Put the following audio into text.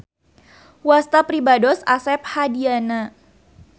Wasta pribados Asep Hadiyana.